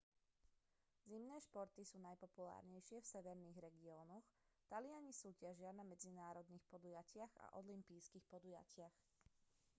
zimné športy sú najpopulárnejšie v severných regiónoch taliani súťažia na medzinárodných podujatiach a olympijských podujatiach